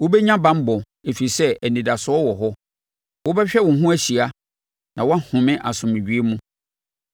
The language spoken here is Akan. Wobɛnya banbɔ, ɛfiri sɛ anidasoɔ wɔ hɔ; wobɛhwɛ wo ho ahyia, na wahome asomdwoeɛ mu.